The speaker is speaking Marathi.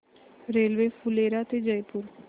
रेल्वे फुलेरा ते जयपूर